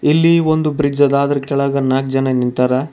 ಇಲ್ಲಿ ಒಂದು ಬ್ರಿಡ್ಜ್ ಅದ ಅದ್ರ ಕೆಳಗ ನಾಕ್ ಜನ ನಿಂತಾರ.